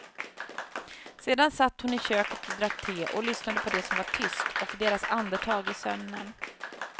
Sedan satt hon i köket och drack te och lyssnade på det som var tyst, och deras andetag i sömnen.